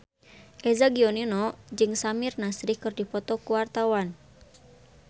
Eza Gionino jeung Samir Nasri keur dipoto ku wartawan